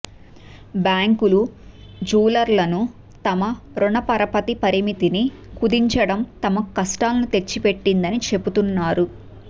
బ్యాంకులు జ్యూయెలర్లను తమ రుణపరపతి పరిమితిని కుదించడం తమకు కష్టాలను తెచ్చిపెట్టిందని చెపుతున్నారు